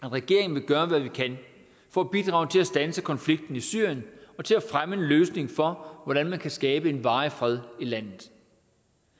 regeringen vil gøre hvad vi kan for at bidrage til at standse konflikten i syrien og til at fremme en løsning for hvordan man kan skabe en varig fred i landet